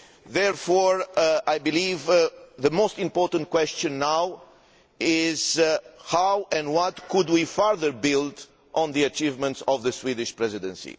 Therefore, I believe the most important question now is how and what could we further build on the achievements of the Swedish Presidency?